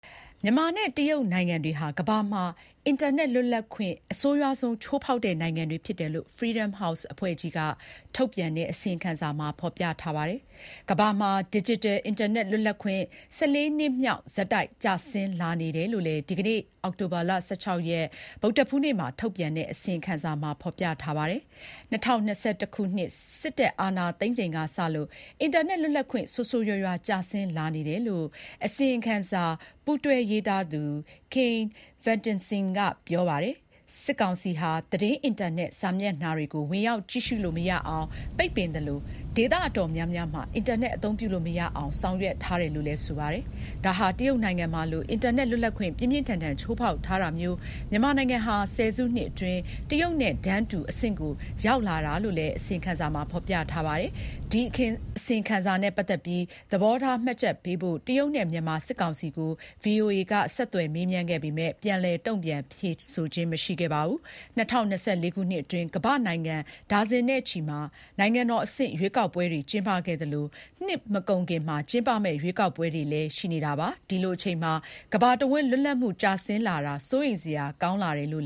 မြန်မာနဲ့ တရုတ်နိုင်ငံတွေဟာ ကမ္ဘာမှာ အင်တာနက် လွတ်လပ်ခွင့် အဆိုးရွားဆုံး ချိုးဖေါက်တဲ့နိုင်ငံတွေ ဖြစ်တယ်လို့ Freedom House အဖွဲ့က ထုတ်ပြန်တဲ့ အစီရင်ခံစာမှာ ဖေါ်ပြထားပါတယ်။ ကမ္ဘာမှာ ဒစ်ဂျစ်တယ် အင်တာနက် လွတ်လပ်ခွင့် ၁၄ နှစ်မြောက် ဆက်တိုက် ကျဆင်းလာနေတယ်လို့လည်း ဒီကနေ့ အောက်တိုဘာ ၁၆ ရက် ဗုဒ္ဓဟူးနေ့မှာ ထုတ်ပြန်တဲ့ အစီရင်ခံစာမှာဖေါ်ပြထားပါတယ်။ ၂၀၂၁ ခုနှစ် စစ်တပ်အာဏာသိမ်းချိန်ကစလို့ အင်တာနက် လွတ်လပ်ခွင့် ဆိုးဆိုးရွားရွားကျဆင်းလာနေတယ်လို့ အစီရင်ခံစာ ပူးတွဲရေးသားသူ Kian Vesteinsson က ပြောပါတယ်။ စစ်ကောင်စီဟာ သတင်းအင်တာနက်စာမျက်နှာတွေကို ဝင်ရောက်ကြည့်ရှုလို့မရအောင် ပိတ်ပင်သလို ဒေသအတော်များများမှာ အင်တာနက် အသုံးပြုလို့မရအောင် ဆောင်ရွက်ထားတယ်လို့လည်း ဆိုပါတယ်။ ဒါဟာ တရုတ်နိုင်ငံမှာလို အင်တာနက် လွတ်လပ်ခွင့် ပြင်းပြင်းထန်ထန် ချိုးဖေါက်ထားတာမျိုး မြန်မာနိုင်ငံဟာ ၁၀ စုနှစ်အတွင်း တရုတ်နိုင်ငံနဲ့ တန်းတူ အဆင့်ကို ရောက်လာတာလို့လည်း အစီရင်ခံစာမှာ ဖေါ်ပြပါတယ်။ ဒီအစီရင်ခံစာနဲ့ ပတ်သတ်ပြီး သဘောထားမှတ်ချက်ပေးဖို့ တရုတ်နဲ့ မြန်မာ စစ်ကောင်စီကို VOA က မေးမြန်းပေမယ့် ပြန်လည် တုန့်ပြန်ဖြေကြားတာမျိုး မရှိပါဘူး။ ၂၀၂၄ ခုနှစ်အတွင်း ကမ္ဘာ့နိုင်ငံ ဒါဇင်နဲ့ချီမှာ နိုင်ငံတော်အဆင့် ရွေးကောက်ပွဲတွေ ကျင်းပခဲ့သလို၊ နှစ်မကုန်ခင်မှာ ကျင်းပမယ့် ရွေးကောက်ပွဲတွေ လည်း ရှိနေတာပါ။ ဒီလိုအချိန်မှာ ကမ္ဘာတဝန်းလွတ်လပ်မှုကျဆင်းလာတာ စိုးရိမ်စရာကောင်းတယ်လို့